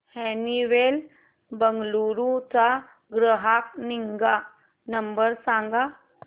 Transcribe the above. Honeywell Bengaluru चा ग्राहक निगा नंबर सांगा